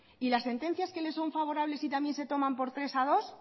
y las sentencias que les son favorables y también se toman por tres a dos